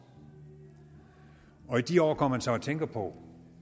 og i de år går man så og tænker på